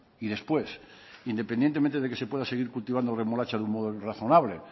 y después independientemente de que se pueda seguir cultivando remolacha de un modo razonable